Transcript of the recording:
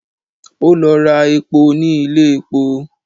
Ó lọ ra epo ní ilé epo